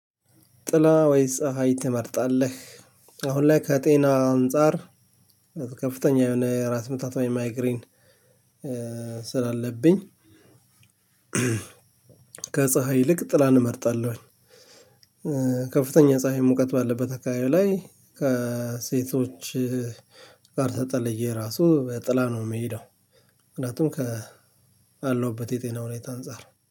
ጥላ ወይስ ፀሀይ ትመርጣለህ? አሁን ላይ ከጤና አንፃር ከፍተኛ የሆነ ራስ ምታት ወይም ማይግሪን ስላለብኝ ከፀሀይ ይልቅ ጥላን እመርጣለሁኝ። ከፍተኛ ፀሀይ ሙቀት ባለበት አካባቢው ላይ ከሴቶች ጋር ተጠለየ ራሱ በጥላ ነው የምሄደው። ምክንያቱም ካለሁበት የጤና ሁኔታ አንፃር